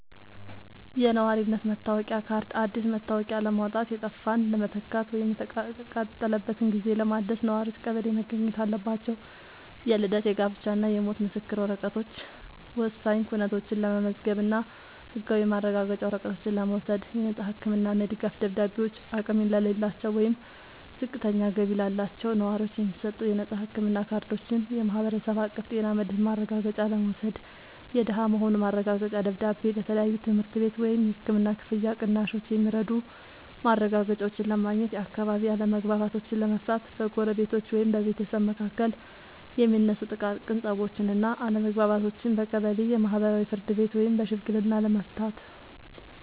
የነዋሪነት መታወቂያ ካርድ፦ አዲስ መታወቂያ ለማውጣት፣ የጠፋን ለመተካት ወይም የተቃጠለበትን ጊዜ ለማደስ ነዋሪዎች ቀበሌ መገኘት አለባቸው። የልደት፣ የጋብቻ እና የሞት ምስክር ወረቀቶች፦ ወሳኝ ኩነቶችን ለመመዝገብ እና ህጋዊ ማረጋገጫ ወረቀቶችን ለመውሰድ። የነፃ ህክምና እና የድጋፍ ደብዳቤዎች፦ አቅም ለሌላቸው ወይም ዝቅተኛ ገቢ ላላቸው ነዋሪዎች የሚሰጡ የነፃ ህክምና ካርዶችን (የማህበረሰብ አቀፍ ጤና መድህን ማረጋገጫ) ለመውሰድ። የደሃ መሆኑ ማረጋገጫ ደብዳቤ፦ ለተለያዩ የትምህርት ቤት ወይም የህክምና ክፍያ ቅናሾች የሚረዱ ማረጋገጫዎችን ለማግኘት። የአካባቢ አለመግባባቶችን ለመፍታት፦ በጎረቤቶች ወይም በቤተሰብ መካከል የሚነሱ ጥቃቅን ፀቦችን እና አለመግባባቶችን በቀበሌ የማህበራዊ ፍርድ ቤት ወይም በሽምግልና ለመፍታት።